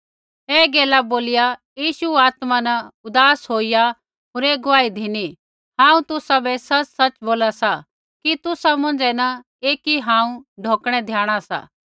ऐ गैला बोलिया यीशु आत्मा न उदास होईया होर ऐ गुआही धिनी हांऊँ तुसाबै सच़सच़ बोला सा कि तुसा मौंझ़ै न एकी हांऊँ ढौकणै द्याणा सा